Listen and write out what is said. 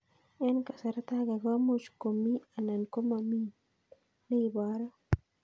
Eng' kasarta ag'e ko much ko mii anan komamii ne ibaru